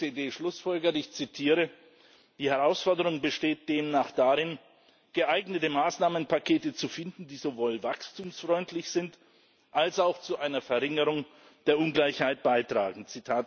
Die OECD schlussfolgert Die Herausforderung besteht demnach darin, geeignete Maßnahmenpakete zu finden, die sowohl wachstumsfreundlich sind, als auch zu einer Verringerung der Ungleichheit beitragen.